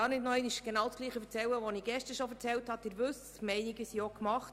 Weitergehend möchte ich mich nicht wiederholen, denn die Meinungen sind gemacht.